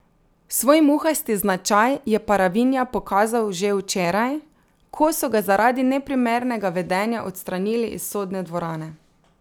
Svoj muhasti značaj je Paravinja pokazal že včeraj, ko so ga zaradi neprimernega vedenja odstranili iz sodne dvorane.